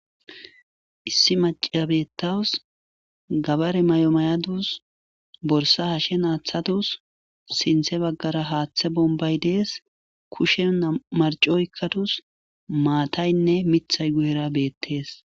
Issi mac'iya betawus gabare mayo mayadus borsa hashen atadus sinte bagara hatha bombay des kushiyan nam'u marc'o oykadus mataynne mitay guyera betes.